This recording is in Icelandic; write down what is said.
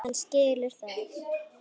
Hann skilur það.